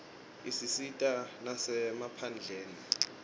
isisita nasemaphalamende